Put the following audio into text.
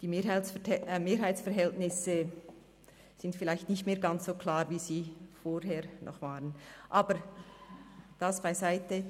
Die Mehrheitsverhältnisse sind vielleicht nicht mehr ganz so klar, wie sie es vorher noch waren, aber das beiseite.